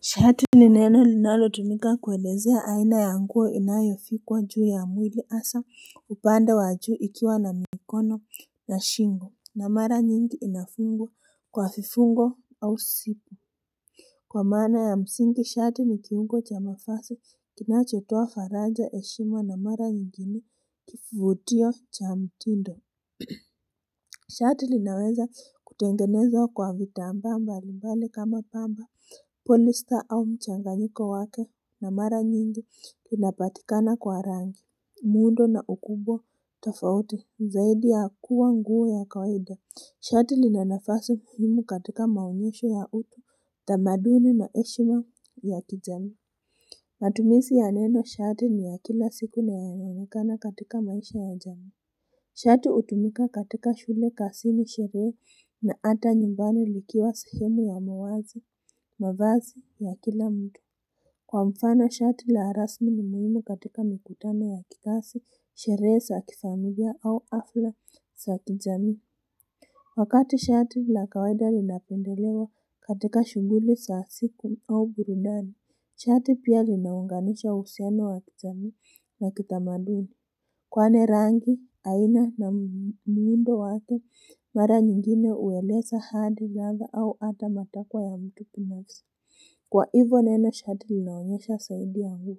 Shati ni neno linalo tumika kuelezea aina ya nguo inayovikwa juu ya mwili hasa upande wa juu ikiwa na mikono na shingo na mara nyingi inafungwa kwa vifungo au sipu Kwa maana ya msingi shati nikiungo cha mafasi kinachotoa faraja heshima na mara nyingine kifutio cha mtindo Shati linaweza kutengenezwa kwa vitambaa mbalimbali kama pamba Polista au mchanganyiko wake na mara nyingi kinapatikana kwa rangi muundo na ukubwa tofauti zaidi ya kuwa nguo ya kawaida Shati lina nafasi muhimu katika maonyesho ya utu tamaduni na heshima ya kijamii Matumisi ya neno shati ni ya kila siku na yanayo onekana katika maisha ya jami Shati utumika katika shule kasini sherehe na ata nyumbani likiwa sehemu wa mawazo, mawazi, wa kila mtu. Kwa mfano, shati la rasmi ni muhimu katika mikutano ya kitasi, sherehe, sa kifamilia au hafla, sa kijamii. Wakati shati la kawaida linapendelewa katika shuguli, sa siku au burudani, shati pia linaunganisha uhusiano wa kijamii na kitamadoni. Kwani rangi, aina na muundo wake, mara nyingine uweleza hadi ladha au ata matakwa ya mtu binafsi. Kwa hivo neno shati linaonyesha saudi ya huu.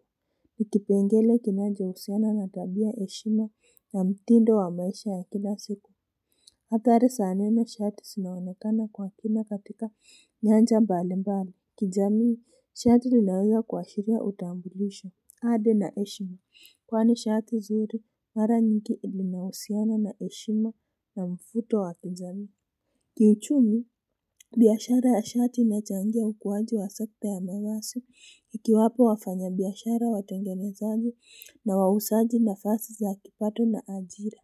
NI kipengele kinajo usiana na tabia heshima na mtindo wa maisha ya kila siku. Hathari sa neno shati sinaonekana kwa kina katika nyanja mbalimbali. Kijamii, shati linawea kuwashiria utambulisho. Hadi na heshimu kwani shati zuri mara nyingi lina usiana na heshimu na mfuto wa kijamii Kiuchumi biyashara ya shati inachangia ukuwaji wa sekta ya mavasi ikiwapa wafanya biyashara watengenezaji na wausaji nafasi za kipato na ajira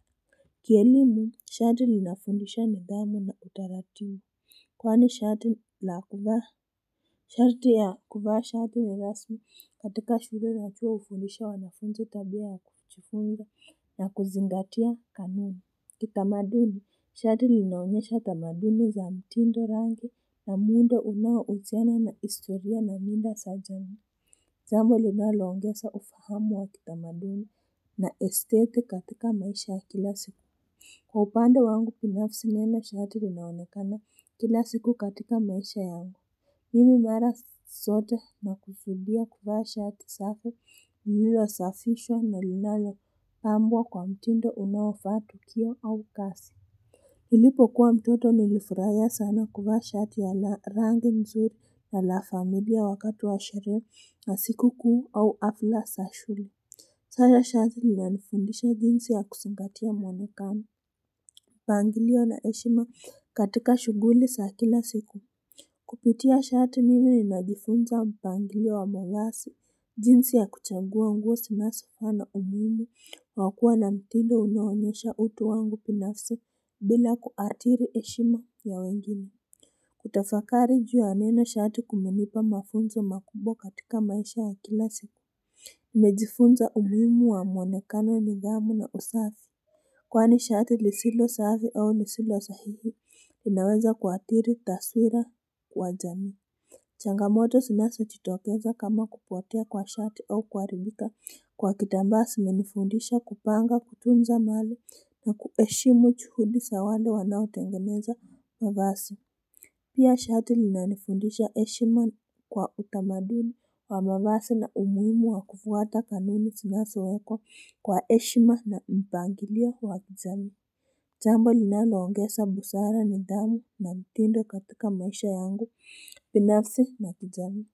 Kielimu shati linafundisha nidhamu na utaratibu Kwani shati la kuvaa Shati ya kuvaa shati ni rasmi katika shule na pia ufundisha wanafunzi tabiaka kujifunga na kuzingatia kanuni Kitamaduni, shati linaonyesha tamaduni za mtindo rangi na muda unao usiana na historia na mila sa jamii Jambo linalo ongesa ufahamu wa kitamaduni na estate katika maisha kila siku Kwa upanda wangu pinafsi neno shati linaonekana kila siku katika maisha yangu mimi mara sote na kusudia kuvaa shati safi ilio safishwa na linalo pambwa kwa mtindo unaofaa tukio au kasi Nilipo kuwa mtoto nilifuraiya sana kuvaa shati ya la rangi mzuri ya la familia wakati wa sherehe na siku kuu au afla sa shule Sasa shati linanifundisha jinsi ya kusingatia mwonekamo mpangilio na heshima katika shuguli sa kila siku Kupitia shati mimi ninajifunza mpangilio wa mawasi jinsi ya kuchagua nguo sinasofaa na umuimu wakua na mtindo unaonyesha utu wangu pinafsi bila kuatiri heshima ya wengine Kutafakari juu ya neno shati kumenipa mafunzo makubwa katika maisha wa kila siku Imejifunza umuhimu wa mwonekano nidhamu na usafi Kwani shati lisilo safi au lisilo sahihi inaweza kuathiri taswira wa jamii changamoto sinaso chitokeza kama kupotea kwa shati au kuaribika kwa kitamba simenifundisha kupanga kutunza mali na kueshimu chuhudi sa wale wanaotengeneza mavasi Pia shati linanifundisha eshima kwa utamaduni wa mavasi na umuimu wa kufuata kanuni finasa weko kwa eshima na mpangilio wa kijamii Jambo linaloongesa busara nidhamu na mtindo katika maisha yangu pinafsi na kijamii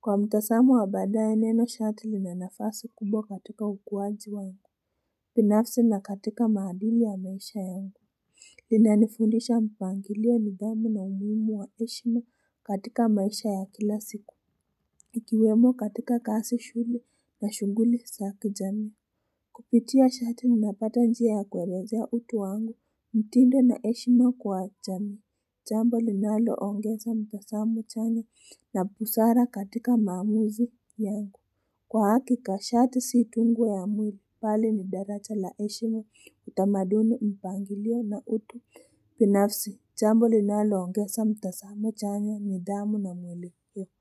Kwa mtasamo wa badaye neno shati linanafasi kubwa katika ukuwaji wangu binafsi na katika maadili ya maisha yangu lina nifundisha mpangilio nidhamu na umuhimu wa eshima katika maisha ya kila siku Ikiwemo katika kasi shule na shunguli sa kijamii Kupitia shati ninapata njia ya kuelezea utu wangu mtindo na eshima kwa jamii Jambo linalo ongesa mtasamo chanya na busara katika maamuzi yangu Kwa hakika shati si tu nguo ya mwili bali ni daracha la eshima utamaduni mpangilio na utu pinafsi jambo linalo ongesa mtasamo chanya nidhamu na mwelekeo.